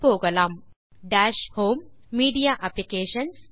இதற்கு முறையே சொடுக்குக டாஷ் ஹோம் மீடியா அப்ளிகேஷன்ஸ்